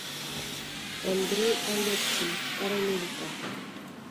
андрей алексин карамелька